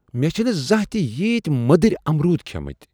مےٚ چھنہٕ زانٛہہ تہ ییتۍ مدٕرۍامرود کھیمٕتۍ !